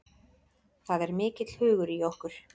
Það er mikill hugur í okkur